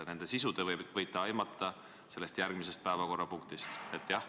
Nende sisu te võite aimata järgmisest päevakorrapunktist.